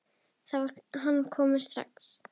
Þá var hann strax kominn.